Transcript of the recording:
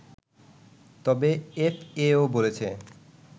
তবে এফএও বলছে